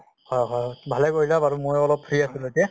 হয় হয় । ভালে কৰিলা বাৰু, ময়ো অলপ এতিয়া free আছিলো এতিয়া